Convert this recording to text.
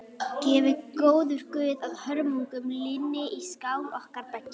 Gefi góður guð að hörmungunum linni í sál okkar beggja.